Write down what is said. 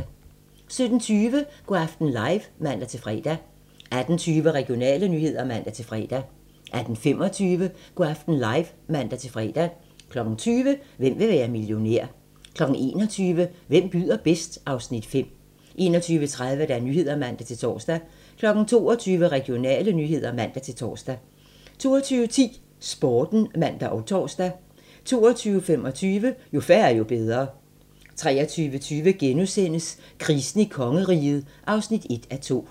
17:20: Go' aften live (man-fre) 18:20: Regionale nyheder (man-fre) 18:25: Go' aften live (man-fre) 20:00: Hvem vil være millionær? 21:00: Hvem byder bedst? (Afs. 5) 21:30: Nyhederne (man-tor) 22:00: Regionale nyheder (man-tor) 22:10: Sporten (man og tor) 22:25: Jo færre, jo bedre 23:20: Krisen i kongeriget (1:2)*